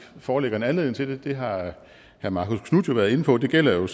foreligger en anledning til det det har herre marcus knuth været inde på gælder jo